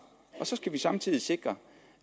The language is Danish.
så skal vi samtidig sikre